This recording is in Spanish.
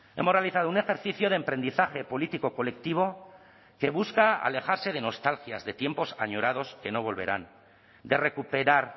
hemos realizado un ejercicio de emprendizaje político colectivo que busca alejarse de nostalgias de tiempos añorados que no volverán de recuperar